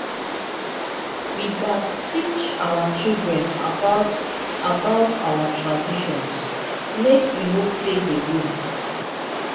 we gats teach our children about about our traditions make e no fade away.